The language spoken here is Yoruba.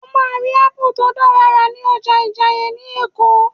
O máa rí Ápù tó dára rà ní ọjà Ìjàìyè ni Èkó